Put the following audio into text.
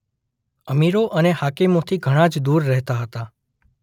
અમીરો અને હાકેમોથી ઘણા જ દૂર રહેતા હતા.